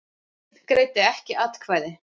Einn greiddi ekki atkvæði.